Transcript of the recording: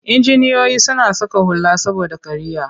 Injiniyoyi suna saka hula saboda kariya.